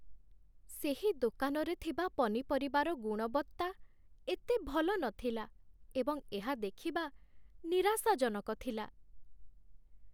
ସେହି ଦୋକାନରେ ଥିବା ପନିପରିବାର ଗୁଣବତ୍ତା ଏତେ ଭଲ ନଥିଲା ଏବଂ ଏହା ଦେଖିବା ନିରାଶାଜନକ ଥିଲା